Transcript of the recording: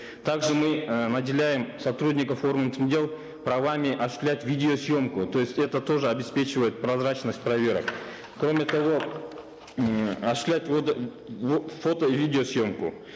также мы э наделяем сотрудников органов внутренних дел правами осуществлять видеосъемку то есть это тоже обеспечивает прозрачность проверок кроме того м осуществлять фото и видеосъемку